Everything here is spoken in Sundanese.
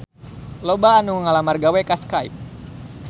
Loba anu ngalamar gawe ka Skype